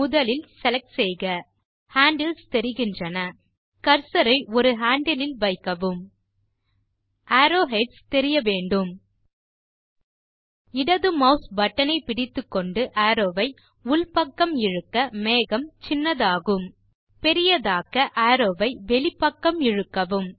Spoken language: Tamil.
முதலில் செலக்ட் செய்க ஹேண்டில்ஸ் தெரிகின்றன கர்சர் ஐ ஒரு ஹேண்டில் இல் வைக்கவும் அரோவ்ஹெட்ஸ் தெரிய வேண்டும் இடது மாஸ் பட்டன் ஐ பிடித்துக்கொண்டு அரோவ் வை உள் பக்கம் இழுக்க மேகம் சின்னதாகும் பெரியதாக்க அரோவ் வை வெளிப்பக்கம் இழுக்கவும்